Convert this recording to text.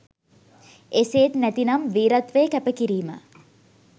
එසේත් නැතිනම් වීරත්වය කැප කිරීම